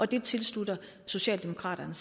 det tilslutter socialdemokraterne